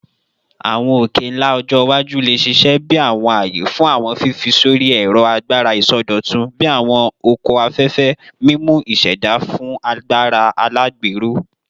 Awọn oke-nla ọjọ iwaju le ṣiṣẹ bi awọn aaye fun awọn fifi sori ẹrọ agbara isọdọtun bii awọn oko afẹfẹ, mimu iseda fun agbara alagbero